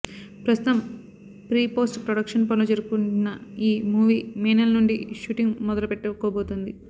ప్రస్తుతం pre post production పనులు జరుపుకుంటున్న ఈ మూవీ మే నెల నుండి షూటింగ్ మొదలుపెట్టుకోబోతుంది